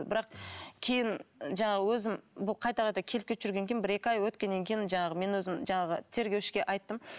бірақ кейін жаңағы өзім бұл қайта қайта келіп кетіп жүргеннен кейін бір екі ай өткеннен кейін жаңағы мен өзім жаңағы тергеушіге айттым